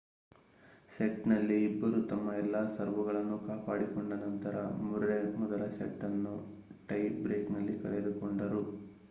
ಸೆಟ್‌ನಲ್ಲಿ ಇಬ್ಬರೂ ತಮ್ಮ ಎಲ್ಲಾ ಸರ್ವ್‌ಗಳನ್ನು ಕಾಪಾಡಿಕೊಂಡ ನಂತರ ಮುರ್ರೆ ಮೊದಲ ಸೆಟ್‌ ಅನ್ನು ಟೈ ಬ್ರೇಕ್‌ನಲ್ಲಿ ಕಳೆದುಕೊಂಡರು